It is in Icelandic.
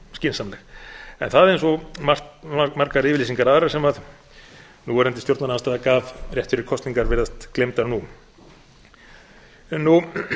skynsamleg en það eins og margar yfirlýsingar aðrar sem núverandi stjórnarandstaða gaf rétt fyrir kosningar virðast gleymd nú